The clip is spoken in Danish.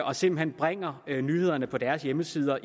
og simpelt hen bringer nyhederne på deres hjemmesider